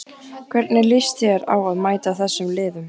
Hvernig líst þér á að mæta þessum liðum?